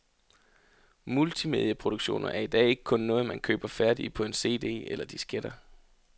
Multimedieproduktioner er i dag ikke kun noget, man køber færdige på en cd eller disketter.